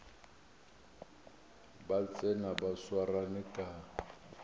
ba tsena ba swarane ka